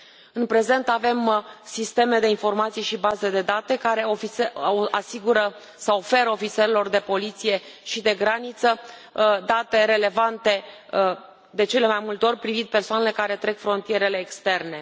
În prezent, avem sisteme de informații și baze de date care asigură sau oferă ofițerilor de poliție și de graniță date relevante, de cele mai multe ori privind persoanele care trec frontierele externe.